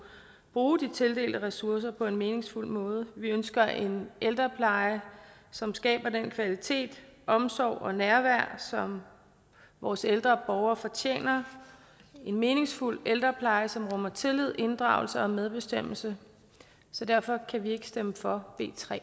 bruge de tildelte ressourcer på en meningsfuld måde vi ønsker en ældrepleje som skaber den kvalitet og omsorg og det nærvær som vores ældre borgere fortjener en meningsfuld ældrepleje som rummer tillid inddragelse og medbestemmelse så derfor kan vi ikke stemme for